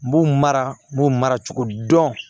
N b'u mara n b'u mara cogo dɔn